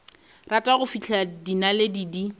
rata go fihlela dinaledi di